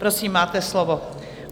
Prosím, máte slovo.